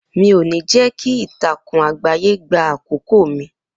Mi ò ní jẹ́ kí ìtàkùn àgbáyé gbà àkókò mi